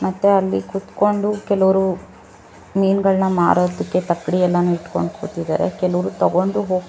ಮತ್ತೆ ಅಲ್ಲಿ ಕೂತ್ಕೊಂಡು ಕೆಲವರು ಮೀನುಗಳನ್ನು ಮಾರೋದಿಕ್ಕೆ ತಕ್ಕಡಿಯನ್ನ ಇಟ್ಕೊಂಡು ಕೂತಿದ್ದಾರೆ ಕೆಲವರು ತಗೊಂಡು ಹೋಗ್--